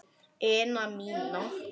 ina mína.